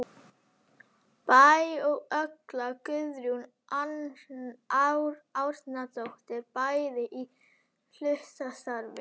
Bæ og Olga Guðrún Árnadóttir, bæði í hlutastarfi.